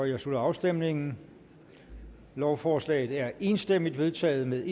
jeg slutter afstemningen lovforslaget er enstemmigt vedtaget med